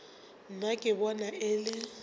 nna ke bona e le